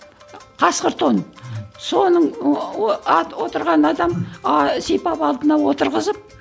қасқыр тон соның ыыы отырған адам а сипап алдына отырғызып